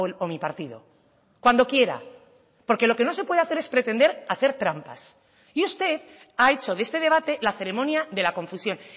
o mi partido cuando quiera porque lo que no se puede hacer es pretender hacer trampas y usted ha hecho de este debate la ceremonia de la confusión